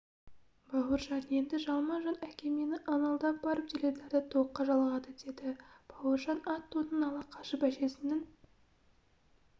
бауыржан енді жалма-жан әкемені ыңылдап барып теледидарды токқа жалғады деді бауыржан ат тонын ала қашып әжесінің